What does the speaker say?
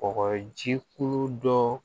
Kɔgɔji ko dɔ